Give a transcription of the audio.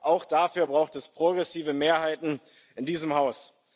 Auch dafür braucht es progressive Mehrheiten in diesem Haus.